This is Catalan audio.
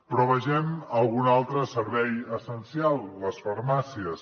però vegem algun altre servei essencial les farmàcies